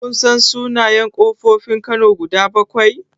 Kun san sunayen ƙofofin kano guda bakwai?